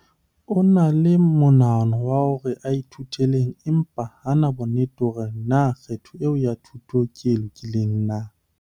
O na le monahano wa hore a ithutele eng empa ha a na bonnete ba hore na kgetho eo ya thuto ke e lokileng na.